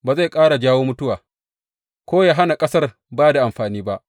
Ba zai ƙara jawo mutuwa, ko yă hana ƙasar ba da amfani ba.’